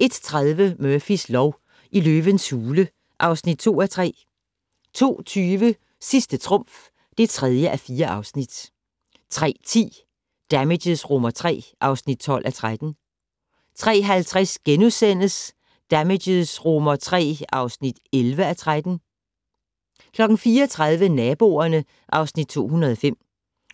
01:30: Murphys lov: I løvens hule (2:3) 02:20: Sidste trumf (3:4) 03:10: Damages III (12:13) 03:50: Damages III (11:13)* 04:30: Naboerne (Afs. 205)